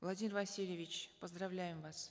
владимир васильевич поздравляем вас